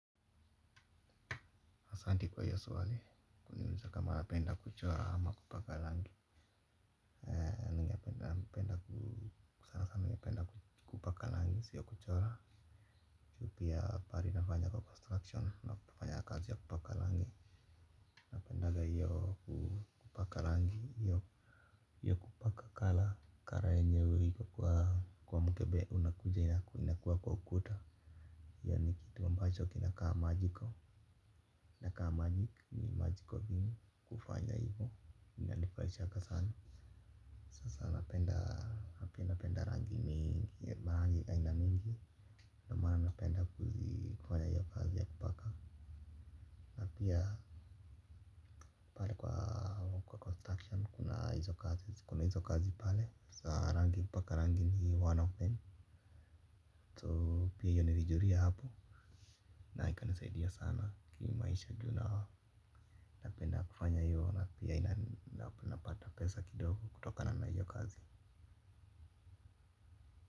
Asanti kwa hiyo swali, kuniuliza kama napenda kuchora ama kupaka rangi ningependa ku sanasana mimi hupenda kupaka rangi, siyo kuchora pia pahali nafanya kwa construction, nafanya kazi ya kupaka rangi. Pendaga hiyo kupaka rangi, hiyo kupaka colour, colour yenye iko kwa mkebe unakuja inakuwa kwa ukuta. Hiyo ni kitu ambacho kinakaa magical, inakaa magic ni magical thing kufanya hivyo. Inanifurahishanga sana. Sasa napenda, napenda rangi mingi, marangi aina mingi. Ndio maana napenda kufanya hiyo kazi ya kupaka na pia pale kwa construction kuna hizo kazi, kuna hizo kazi pale. Sasa rangi kupaka rangi ni one of them So pia hiyo nilijulia hapo. Na ikanisaidia sana ki maisha juna. Napenda kufanya hiyo na pia napata pesa kidogo kutokana hiyo kazi.